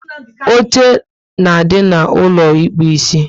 Oche na adị n'ulo ịkpụ isi